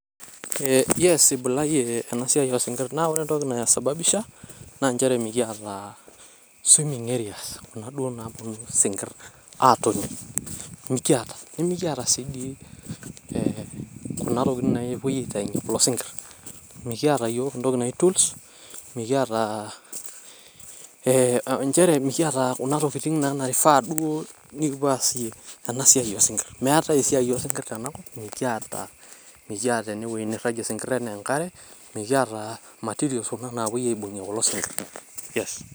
ee yes ibulayie ena siai osinkir naa ore entoki naisababisha naa nchere mikiata swimming areas(c)kuna duoo nabulu isinkir atoni . miata ,nimikiata si di kuna tokitin napuoi aitayunyie kulo sinkir. mikiata yiook entoki naji tool mikiata ee nchere kuna tokitin e naifaa duoo nikipuo aasie ena siai oosinkir ,meetae esiai osinkir tena kop . mikiata mikiata ene wuei niragie isinkir enaa enkare, mikiata materials kuna oshi napuoi aibungie kulo sinkir, yes.